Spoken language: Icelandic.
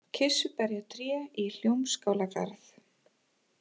Kirsuberjatré í Hljómskálagarð